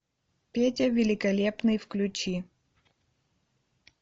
петя великолепный включи